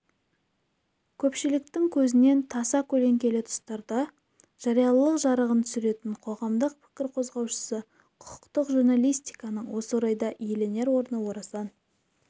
көпшіліктің көзінен таса көлеңкелі тұстарға жариялылық жарығын түсіретін қоғамдық пікір қозғаушысы құқықтық журналистиканың осы орайда иеленер орны орасан